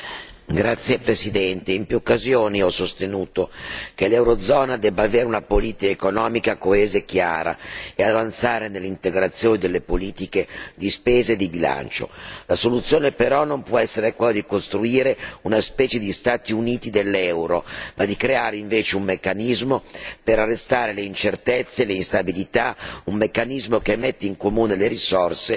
Signor Presidente, onorevoli colleghi, in più occasioni ho sostenuto che l'eurozona dovrebbe avere una politica economica coesa e chiara ed avanzare nell'integrazione delle politiche di spesa e di bilancio. La soluzione però non può essere poi di costruire una specie di Stati Uniti dell'euro, ma di creare invece un meccanismo per arrestare le incertezze, l'instabilità, un meccanismo che metta in comune le risorse